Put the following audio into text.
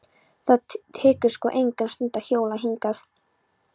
Það tekur sko enga stund að hjóla hingað.